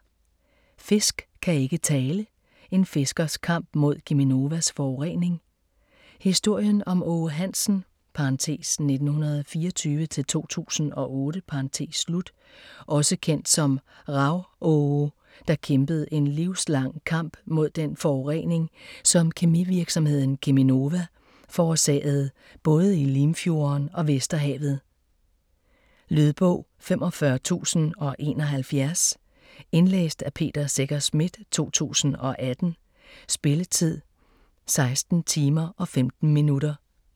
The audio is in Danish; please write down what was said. Fisk kan ikke tale: en fiskers kamp mod Cheminovas forurening Historien om Aage Hansen (1924-2008) - også kendt som Rav-Aage, der kæmpede en livslang kamp mod den forurening, som kemivirksomheden Cheminova forårsagede både i Limfjorden og Vesterhavet. Lydbog 45071 Indlæst af Peter Secher Schmidt, 2018. Spilletid: 16 timer, 15 minutter.